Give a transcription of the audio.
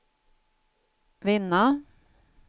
vinna